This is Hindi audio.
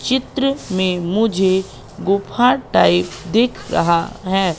चित्र में मुझे गुफा टाइप दिख रहा है।